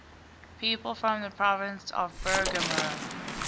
people from the province of bergamo